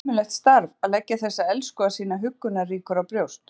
Það er ömurlegt starf að leggja þessa elskhuga sína huggunarríkur á brjóst.